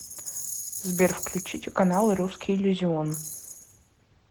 сбер включите каналы русский иллюзион